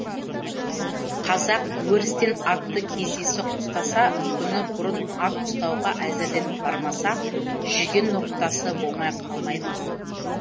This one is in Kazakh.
қазақ өрістен атты кездейсоқ ұстаса күні бұрын ат ұстауға әзірленіп бармаса жүген ноқтасы болмай қалмай ма